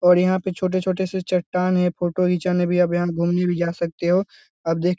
और यहाँ पे छोटे-छोटे से चट्टान है फोटो घिंचाने भी आप यहाँ घूमने भी जा सकते हो आप देख --